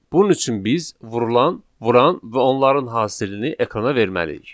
Bunun üçün biz vurulan, vuran və onların hasilini ekrana verməliyik.